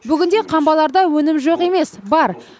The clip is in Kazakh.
бүгінде қамбаларда өнім жоқ емес бар